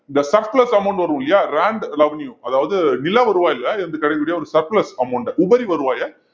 இந்த surplus amount வரும் இல்லையா land revenue அதாவது நில வருவாய்ல இருந்து கிடைக்கக்கூடிய ஒரு surplus amount உபரி வருவாயை